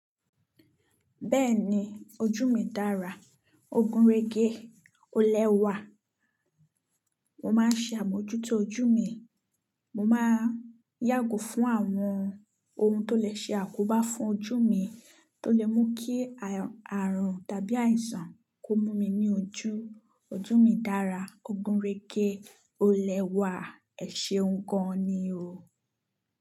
Bẹ́ẹ̀ni ojú mi dára, ògùn régé ó lẹ́wà. Mo máa ń ṣe àmójútó ojú mi, mo máa yàgò fún àwọn ohun tó lè ṣe àkóbá fún ojú mi, tó lè mú kí àrùn tàbí àìsàn kó mú mi ní ojú. Ojú mi dára, ògùn régé ó lẹ́wà, ẹ̀ṣeun ń gan ni o.